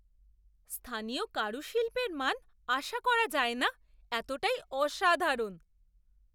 স্থানীয় কারুশিল্পের মান আশা করা যায় না এতটাই অসাধারণ!